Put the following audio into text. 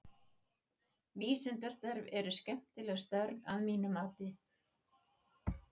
Vísindastörf eru skemmtileg störf að mínu mati.